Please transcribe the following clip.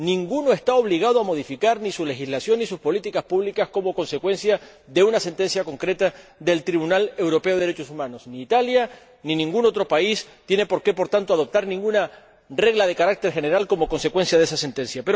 Ninguno está obligado a modificar ni su legislación ni sus políticas públicas como consecuencia de una sentencia concreta del Tribunal Europeo de Derechos Humanos. Por tanto, ni Italia, ni ningún otro país tiene por qué adoptar ninguna regla de carácter general como consecuencia de esa sentencia.